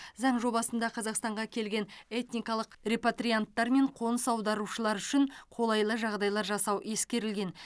заң жобасында қазақстанға келген этникалық репатрианттар мен қоныс аударушылар үшін қолайлы жағдайлар жасау ескерілген